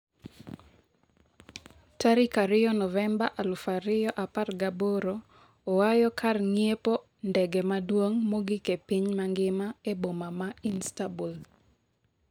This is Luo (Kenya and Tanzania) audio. tarik ariyo novemba aluf ariyo apargi aboro Oyawo kar ng'iepo ndege maduong' mogik e piny mangima e boma ma Istanbul.